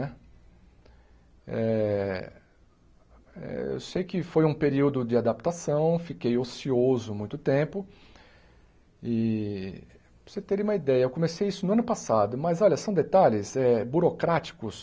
Né eh eh eu sei que foi um período de adaptação, fiquei ocioso muito tempo, e para você ter uma ideia, eu comecei isso no ano passado, mas olha, são detalhes eh burocráticos,